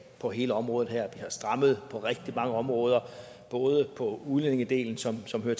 på hele området her har strammet på rigtig mange områder både på udlændingedelen som hører